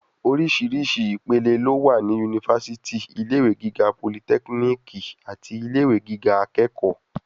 Oríṣìíríṣìí ìpele ló wà ní yunifásítì, ilé ìwé gíga politẹ́kínìkì àti ilé ìwé gíga akẹ́kọ̀ọ́.